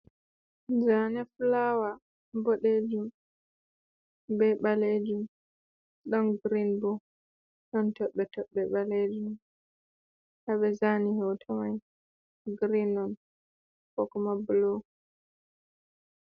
Zane fulawa boɗejum be ɓalejum, ɗon girin bo, ɗon toɓɓe toɓɓe ɓalejum. Haa ɓe zani hoto mai girin on kokuma bulu.